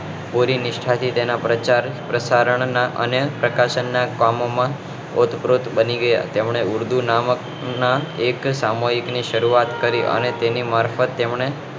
પૂરી નિષ્ઠા થી તેમને પ્રચાર અને પ્રશારણ અને પ્રકાશક ના કામો માં ઓતપ્રોત થઇ ગયા તેમને ઉર્દુ નામક ના એક સામુહિક ની શરૂઆત કરી અને તેની મારફત તેમને